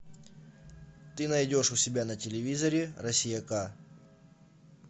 ты найдешь у себя на телевизоре россия ка